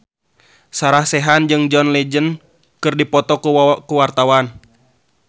Sarah Sechan jeung John Legend keur dipoto ku wartawan